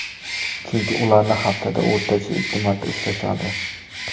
Chunki ularni haftada o‘rtacha ikki marta ushlashadi.